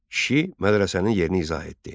Kişi mədrəsənin yerini izah etdi.